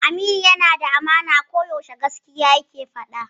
Aliyu yana da amana, ko yaushe gaskiya yake faɗa.